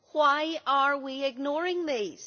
Why are we ignoring these?